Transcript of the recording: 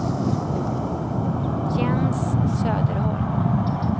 Jens Söderholm